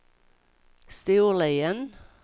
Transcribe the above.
Storlien